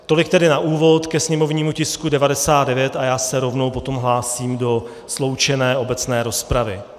Tolik tedy na úvod ke sněmovními tisku 99 a já se rovnou potom hlásím do sloučené obecné rozpravy.